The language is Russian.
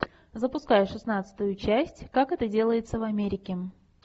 запускай шестнадцатую часть как это делается в америке